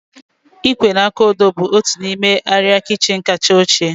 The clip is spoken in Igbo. Ịkwé na aka odo bụ otu n'ime arịa kichin kacha ochie